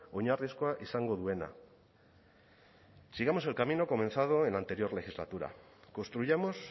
oinarrizkoa izango duena sigamos el camino comenzado en la anterior legislatura construyamos